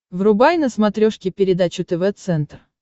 врубай на смотрешке передачу тв центр